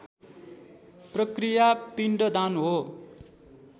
प्रक्रिया पिण्डदान हो